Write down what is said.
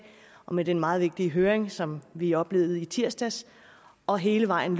og med den meget vigtige høring som vi oplevede i tirsdags og hele vejen